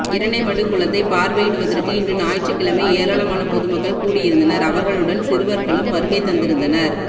இரணைமடுகுளத்தை பார்வையிடுவதற்கு இன்று ஞாயிற்றுக் கிழமை ஏராளமான பொது மக்கள் கூடியிருந்தனர் அவர்களுடன் சிறுவர்களும் வருகை தந்திருந்தனர்